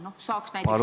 Palun küsimus!